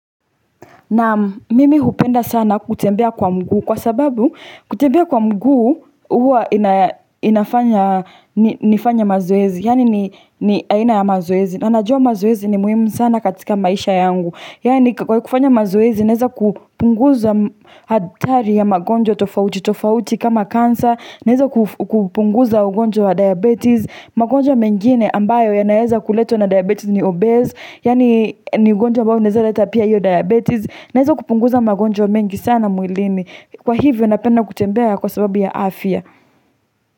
Naam, mimi hupenda sana kutembea kwa mguu kwa sababu kutembea kwa mguu huwa inafanya nifanye mazoezi. Yaani ni aina ya mazoezi. Na najua mazoezi ni muhimu sana katika maisha yangu. Yaani kwa kufanya mazoezi naweza kupunguza hatari ya magonjwa tofauti tofauti kama kansa. Naweza kupunguza ugonjwa wa diabetes. Magonjwa mengine ambayo yanaweza kuletwa na diabetes ni obese. Yaani ni ugonjwa ambao unaweza leta pia hiyo diabetes. Naweza kupunguza magonjwa mengi sana mwilini kwa hivyo napenda kutembea kwa sababu ya afya.